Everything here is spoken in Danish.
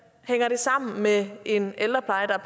hænger det sammen med en ældrepleje der